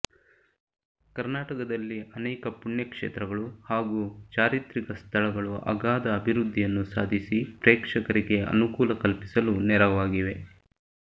ಕರ್ನಾಟಕದಲ್ಲಿ ಅನೇಕ ಪುಣ್ಯ ಕ್ಷೇತ್ರಗಳು ಹಾಗೂ ಚಾರಿತ್ರಿಕ ಸ್ಥಳಗಳು ಅಗಾಧ ಅಭಿವೃದ್ದಿಯನ್ನು ಸಾಧಿಸಿ ಪ್ರೇಕ್ಷಕರಿಗೆ ಅನುಕೂಲ ಕಲ್ಪಿಸಲು ನೆರವಾಗಿವೆ